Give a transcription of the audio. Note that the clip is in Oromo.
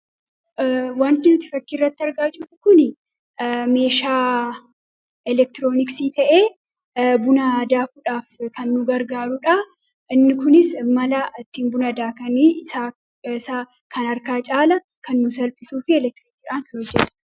Wanti nuti fakkiirratti argaa jirru kun meeshaa elektirooniksii ta'ee buna daakuudhaaf kan nu gargaarudha. Inni kunis mala itti buna daakan kan harkaa caalaa kan nuuf salphisu fi kan elektiriikiidhaan hojjatuudha.